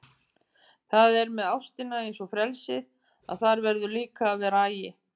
Það er með ástina eins og frelsið að þar verður líka að vera agi.